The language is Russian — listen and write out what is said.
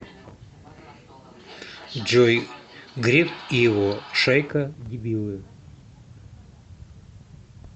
джой греф и его шайка дебилы